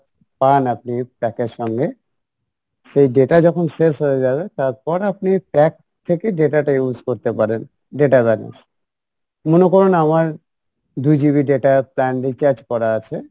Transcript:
পান আপনি ওই pack এর সঙ্গে সেই data যখন শেষ হয়ে যাবে তারপর আপনি pack থেকে data টা use করতে পারেন data balance, মনে করেন আমার দু GB data plan recharge করা আছে